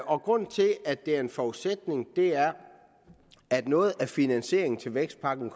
og grunden til at det er en forudsætning er at noget af finansieringen til vækstpakken